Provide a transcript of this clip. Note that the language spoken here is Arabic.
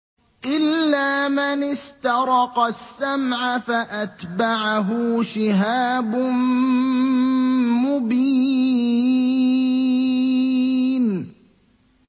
إِلَّا مَنِ اسْتَرَقَ السَّمْعَ فَأَتْبَعَهُ شِهَابٌ مُّبِينٌ